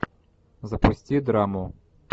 запусти драму